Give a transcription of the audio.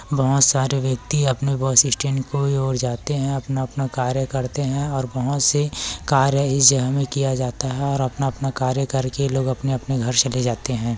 बहोत सारे व्यक्ति अपने बस स्टैंड की ओर जाते है अपना-अपना कार्य करते है और बहोत से कार्य इस जगह में किया जाता है और अपना-अपना कार्य करके ये लोग अपने-अपने घर चले जाते है।